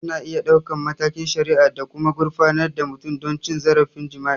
Ana iya ɗaukar matakin shari'a da kuma gurfanar da mutum don cin zarafin jima'i.